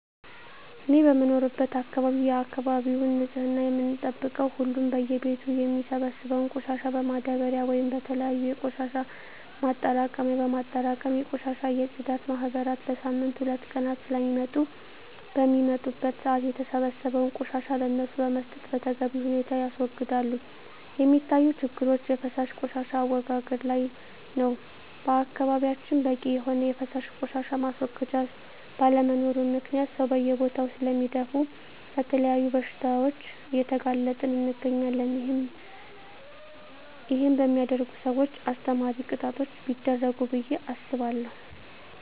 እኔ በምኖርበት አካባቢ የአካባቢውን ንፅህና የምንጠብቀው ሁሉም በየ ቤቱ የሚሰበሰበውን ቆሻሻ በማዳበርያ ወይም በተለያዩ የቆሻሻ ማጠራቀሚያ በማጠራቀም የቆሻሻ የፅዳት ማህበራት በሳምንት ሁለት ቀናት ስለሚመጡ በሚመጡበት ሰአት የተሰበሰበውን ቆሻሻ ለነሱ በመስጠት በተገቢ ሁኔታ ያስወግዳሉ። የሚታዪ ችግሮች የፈሳሽ ቆሻሻ አወጋገድ ላይ ነው በአካባቢያችን በቂ የሆነ የፈሳሽ ቆሻሻ ማስወገጃ ባለመኖሩ ምክንያት ሰው በየቦታው ስለሚደፍ ለተለያዩ በሽታዎች እየተጋለጠን እንገኛለን ይህን በሚያደርጉ ሰውች አስተማሪ ቅጣቶች ቢደረጉ ብየ አስባለሁ።